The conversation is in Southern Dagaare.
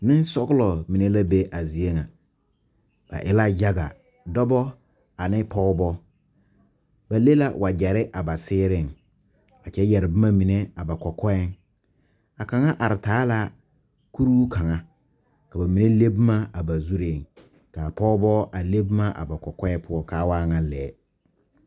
Nensɔgelo mine la be a zie ŋa ba e la yaga dɔba ane pɔgeba ba le la wagyere a seereŋ kyɛ yɛrɛ boma mine a ba kɔkɔɛ a kaŋa are taa la kuri kaŋa ka ba mine le boma a ba zuri kaa pɔgeba a le boma a ba kɔkɔɛ poɔkaa waa ŋa lɛɛ